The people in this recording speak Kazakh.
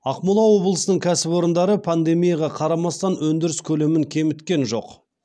ақмола облысынның кәсіпорындары пандемияға қарамастан өндіріс көлемін кеміткен жоқ